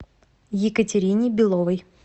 екатерине беловой